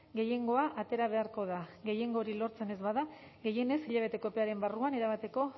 gehiengoa atera beharko da gehiengo hori lortzen ez bada gehienez hilabeteko epearen barruan erabateko